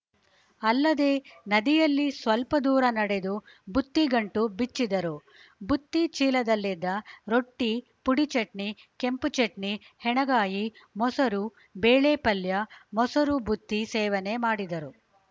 ಅಲ್ಲದೇ ನದಿಯಲ್ಲಿ ಸ್ವಲ್ಪ ದೂರ ನಡೆದು ಬುತ್ತಿ ಗಂಟು ಬಿಚ್ಚಿದರು ಬುತ್ತಿ ಚೀಲದಲ್ಲಿದ್ದ ರೊಟ್ಟಿ ಪುಡಿ ಚಟ್ನಿ ಕೆಂಪು ಚಟ್ನಿ ಹೆಣಗಾಯಿ ಮೊಸರು ಬೇಳೆ ಪಲ್ಯ ಮೊಸರು ಬುತ್ತಿ ಸೇವನೆ ಮಾಡಿದರು